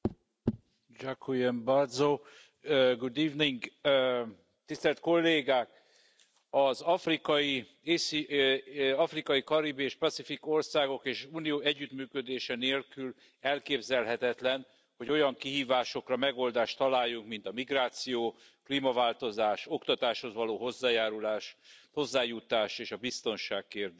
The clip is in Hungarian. Tisztelt Elnök asszony! Tisztelt Kollégák! Az afrikai, karibi és csendes óceáni országok és az Unió együttműködése nélkül elképzelhetetlen, hogy olyan kihívásokra megoldást találjunk, mint a migráció, klímaváltozás, oktatáshoz való hozzájárulás, hozzájutás és a biztonság kérdése.